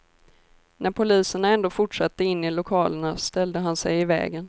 När poliserna ändå fortsatte in i lokalerna ställde han sig i vägen.